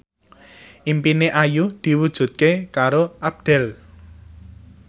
impine Ayu diwujudke karo Abdel